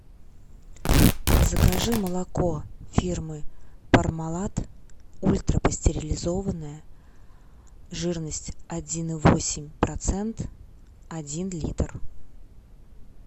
закажи молоко фирмы пармалат ультрапастеризованное жирность один и восемь процент один литр